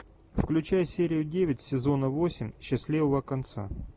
включай серию девять сезона восемь счастливого конца